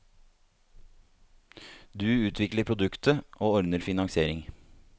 Du utvikler produktet, og ordner finansiering.